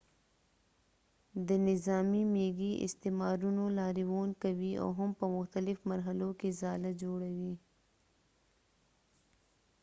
د نظامی میږي استعمارونو لاریون کوي او هم په مختلف مرحلو کښی ځاله جوړوي